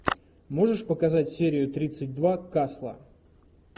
можешь показать серию тридцать два касла